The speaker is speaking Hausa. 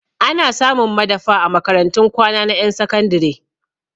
Ana samun madafa a makarantun kwana na ƴan sakandire